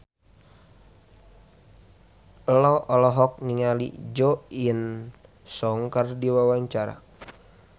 Ello olohok ningali Jo In Sung keur diwawancara